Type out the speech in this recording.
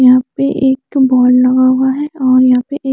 यहाँ पे एक बोर्ड लगा हुआ है और यहाँ पे एक--